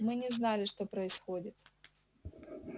мы не знали что происходит